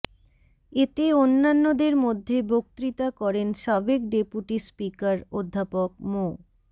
এতে অন্যান্যদের মধ্যে বক্তৃতা করেন সাবেক ডেপুটি স্পিকার অধ্যাপক মো